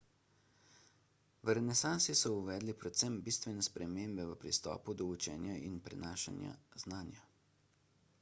v renesansi so uvedli predvsem bistvene spremembe v pristopu do učenja in prenašanju znanja